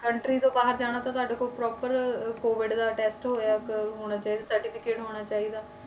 Country ਤੋਂ ਬਾਹਰ ਜਾਣਾ ਤੁਹਾਡੇ ਕੋਲ proper COVID ਦਾ test ਹੋਇਆ ਕਿ ਹੋਣਾ ਚਾਹੀਦਾ certificate ਹੋਣਾ ਚਾਹੀਦਾ